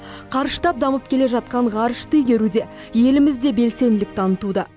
қарыштап дамып келе жатқан ғарышты игеруде еліміз де белсенділік танытуда